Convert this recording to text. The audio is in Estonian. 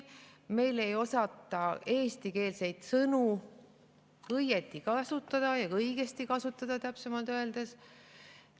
Meil ei osata eestikeelseid sõnu õieti kasutada, õigesti kasutada, täpsemalt öeldes.